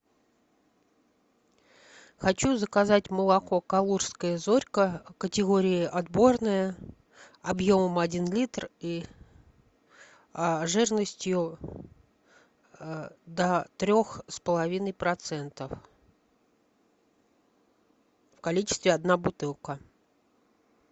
хочу заказать молоко калужская зорька категории отборное объемом один литр и жирностью до трех с половиной процентов в количестве одна бутылка